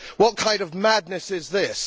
What kind of madness is this?